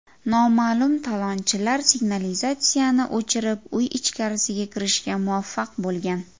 Noma’lum talonchilar signalizatsiyani o‘chirib, uy ichkarisiga kirishga muvaffaq bo‘lgan.